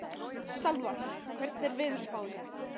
Salvar, hvernig er veðurspáin?